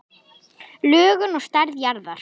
Lögun og stærð jarðar